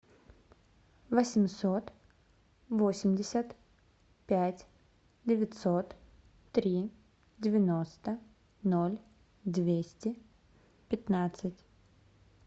восемьсот восемьдесят пять девятьсот три девяносто ноль двести пятнадцать